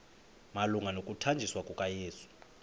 malunga nokuthanjiswa kukayesu